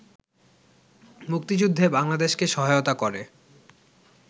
মুক্তিযুদ্ধে বাংলাদেশকে সহায়তা করে